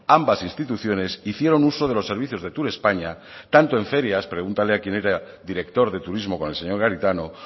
ambas instituciones hicieron uso de los servicios de turespaña tanto en ferias pregúntele a quien era director de turismo con el señor garitano